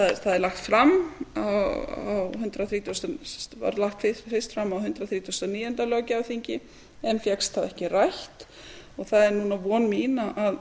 er lagt fram það var lagt fyrst fram á hundrað þrítugasta og níunda löggjafarþingi en fékkst þá ekki rætt og það er núna von mín að